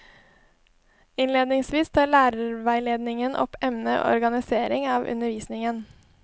Innledningsvis tar lærerveiledningen opp emnet organisering av undervisningen.